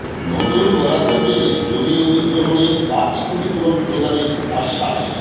নতুন বরাদ্দ পেলে জমি অধিগ্রহণের বাকি ক্ষতিপূরণ প্রদানের আশ্বাস